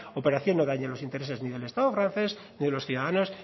operación no dañe los intereses ni del estado francés ni de los ciudadanos